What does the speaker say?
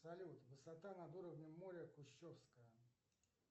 салют высота над уровнем моря кущевская